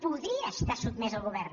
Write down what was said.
podria estar sotmès al govern